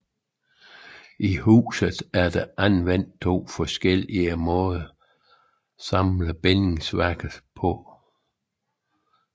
I huset er anvendt to forskellige måder at samle bindingsværket på